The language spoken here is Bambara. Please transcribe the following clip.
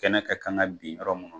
Kɛnɛ ka kan bin yɔrɔ mun na.